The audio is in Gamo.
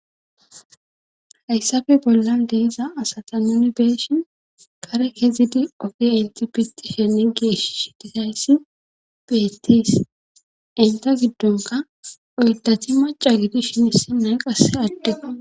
Hayssafe bollan deeza asata nuni beeshin kare kezidi ofi intipitishene geesh shitihayssi beettis inta giddonka oydati maca gidi shinisi nay qasse addeo.